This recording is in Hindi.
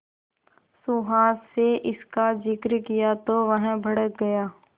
सुहास से इसका जिक्र किया तो वह भड़क गया